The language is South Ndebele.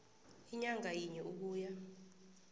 inyanga yinye ukuya